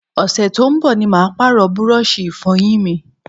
Ọ̀sẹ̀ tó ń bọ̀ ni màá Pààrọ̀ búrọ́ọ̀ṣì Ìfọ̀yín mi